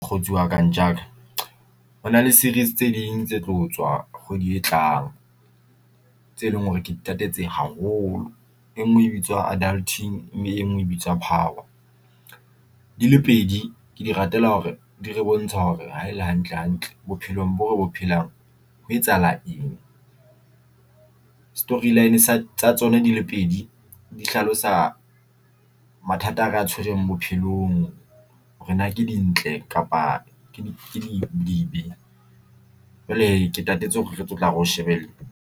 Mokgotsi wa ka ntjha ka hona le series tse ding tse tlo tswa kgwedi e tlang tse leng hore ke ditatse tse haholo. E ngwe e bitswa Adulting e ngwe e bitswa Power di le pedi ke di ratela hore di re bontsha hore haele hantle hantle bophelong bore bo phelang ho etsahala eng story line sa tsa tsona di le pedi di hlalosa mathata a re a tshwereng bophelong ke dintle kapa ke dibe jwale ke tatetse hore re tlo tla re di shebelle.